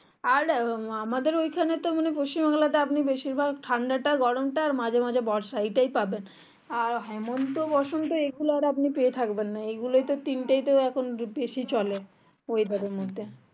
আর আমাদের ওখানেতো পশ্চিম বাংলাতে আপনি বেশির ভাগ ঠান্ডাটা গরমটা আর মাঝে মাঝে বর্ষা এটাই পাবেন আর হেমন্ত বসন্ত এগুলো আপনি পেয়ে থাকবেন না এগুলাম এই তিনটি তো এখন বেশি চলে weather এর মধ্যে